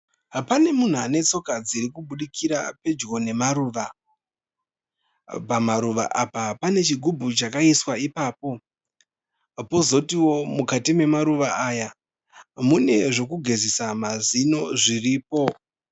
Panemuhu anetsoka dzirikubudikira pedyo nemaruva. Pamaruva apa pane chigubhu chakaiswa ipapo pozotiwo mukati memaruva aya mune zvekugezesa mazino zviripo.